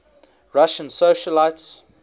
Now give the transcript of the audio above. russian socialites